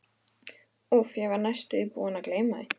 Úff, ég var næstum því búinn að gleyma því.